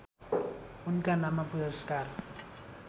उनका नाममा पुरस्कार